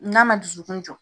N'a ma dusukun jɔ,